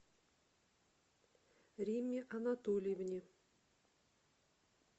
римме анатольевне